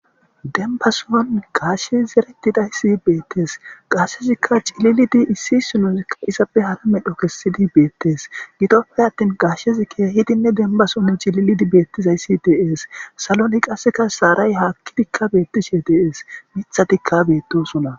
denbason gashshe zeretidayssi beettes qashezikka cililidi issi inozikka izappe hara medho kessidi beettes gidoppe attin gashshezi keehidinne denbason cililidi beettizayssi dee'es saloni qasseka shaaray haakkidikka beettishe de'ees mithatikka beettosona